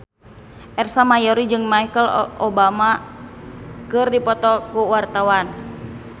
Ersa Mayori jeung Michelle Obama keur dipoto ku wartawan